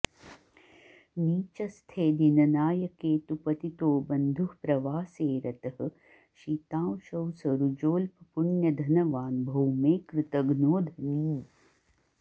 नीचस्थे दिननायके तु पतितोऽबन्धुः प्रवासे रतः शीतांशौ सरुजोऽल्पपुण्यधनवान् भौमे कृतघ्नो धनी